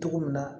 Cogo min na